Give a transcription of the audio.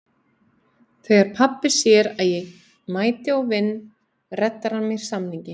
Þegar pabbi sér að ég mæti og vinn reddar hann mér samningi.